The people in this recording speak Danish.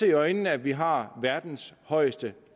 i øjnene at vi har verdens højeste